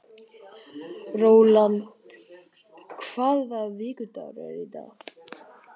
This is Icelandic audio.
Rólant, hvaða vikudagur er í dag?